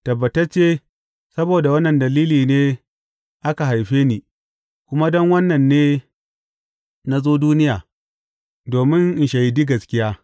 Tabbatacce, saboda wannan dalili ne aka haife ni, kuma don wannan ne na zo duniya, domin in shaidi gaskiya.